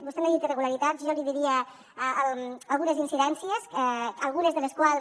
vostè n’ha dit irregularitats jo n’hi diria algunes incidències algunes de les quals